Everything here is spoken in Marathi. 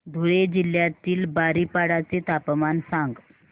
धुळे जिल्ह्यातील बारीपाडा चे तापमान सांग